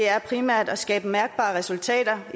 er primært at skabe mærkbare resultater